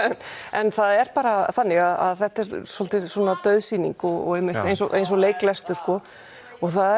en það er bara þannig að þetta er svolítið dauð sýning og eins og eins og leiklestur og það